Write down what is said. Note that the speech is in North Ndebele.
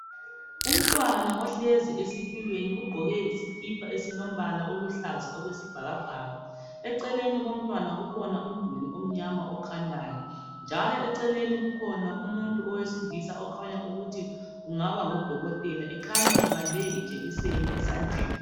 Umntwana ohlezi esitulweni ugqoke isikipa esilombala oluhlaza okwesibhakabhaka, eceleni komntwana kukhona umduli omnyama okhanyayo. Njalo eceleni kukhona umuntu owesilisa okhanya ukuthi kungaba ngudokotela ekhanya ebambe ijekiseni esandleni.